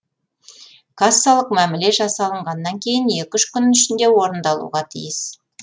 кассалық мәміле жасасылғаннан кейін екі үш күн ішінде орындалуға тиіс